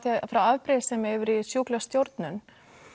frá afbrýðissemi yfir í sjúklega stjórnun